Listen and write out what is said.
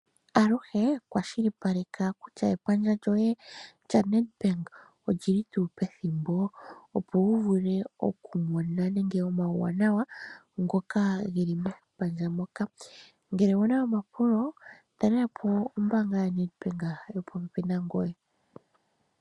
Aluhe kwashilipaleka kutya epandja lyoye lyaNedbank oli li tuu pethimbo, opo wu vule okumona omauwanawa ngoka ge li mepandja moka. Ngele owu na omapulo, talela po ombaanga yaNedbank yopopepi nangoye.